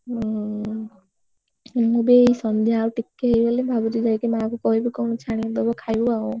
ହୁଁ ମୁଁ ବି ଏଇ ସନ୍ଧ୍ୟା ଆଉ ଟିକେ ହେଇଗଲେ ଭାବୁଛି ଯାଇକି ମା କୁ କହିବି କଣ ଛାଣିକି ଦବ ଖାଇବୁ ଆଉ।